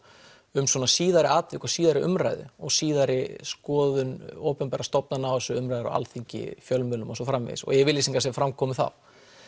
um svona síðari atvik og síðari umræðu og síðari skoðun opinberra stofnanna umræður á Alþingi fjölmiðlum og svo framvegis yfirlýsingar sem fram komu þá